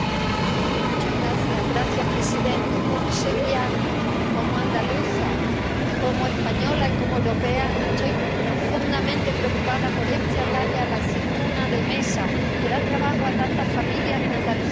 Señor presidente, como sevillana, como andaluza, como española y como europea estoy profundamente preocupada por este ataque a la aceituna de mesa, que da trabajo a tantas familias en Andalucía.